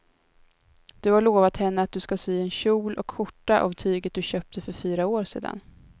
Du har lovat henne att du ska sy en kjol och skjorta av tyget du köpte för fyra år sedan.